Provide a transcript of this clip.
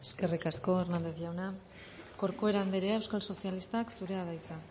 eskerrik asko hernández jauna corcuera andrea euskal sozialistak zurea da hitza